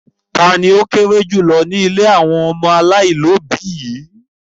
Ta ni ó kéré jù lọ ní ilé àwọn ọmọ aláìlóòbí yìí?